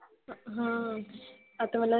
हम्म आता मला